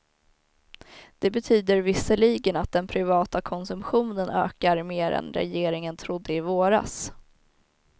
Det betyder visserligen att den privata konsumtionen ökar mer än regeringen trodde i våras.